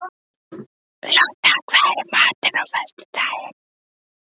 Lotta, hvað er í matinn á föstudaginn?